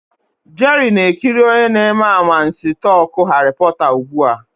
Jerry na-ekiri onye na-eme anwansi talk Harry porter ugbu a.